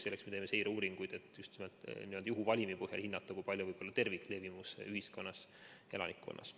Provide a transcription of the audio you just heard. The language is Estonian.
Selleks me teeme seireuuringuid, et just nimelt n‑ö juhuvalimi põhjal hinnata, kui suur on terviklevimus elanikkonna hulgas.